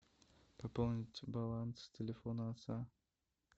пополнить баланс телефона отца